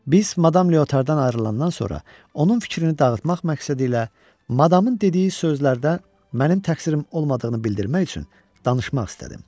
Biz Madam Leotar'dan ayrılandan sonra, onun fikrini dağıtmaq məqsədi ilə Madam'ın dediyi sözlərdə mənim təqsirim olmadığını bildirmək üçün danışmaq istədim.